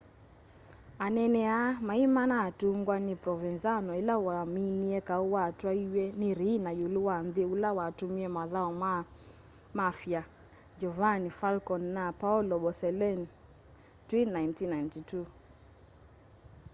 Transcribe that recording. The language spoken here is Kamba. anene aa maimanatungwa ni provenzano ila waminie kau watwaiiw'e ni riina iulu wa nthi ula watumie mathau maa ma mafia giovanni falcone na paolo borsellino twi 1992